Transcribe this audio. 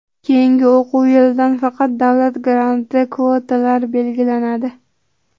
Keyingi o‘quv yilidan faqat davlat granti kvotalari belgilanadi.